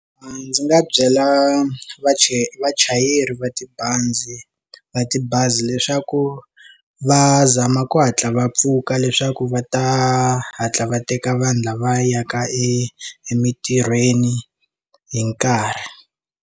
A ndzi nga byela vachayeri vachayeri va tibazi va tibazi leswaku va zama ku hatla va pfuka leswaku va ta hatla va teka vanhu lava yaka emintirhweni hi nkarhi.